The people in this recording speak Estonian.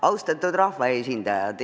Austatud rahvaesindajad!